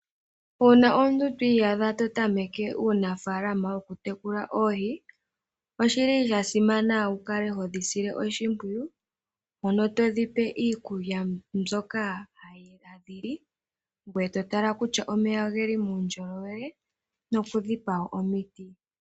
Uuna omuntu twi iyadha to tameke uunafaalama wokutekula oohi oshili shasimana wu kale todhi sile oshimpwiyu todhipe iikulya mbyoka hadhi li, ngoye to tala ngele omeya ogeli muundjolowele noku kaliwa koohi.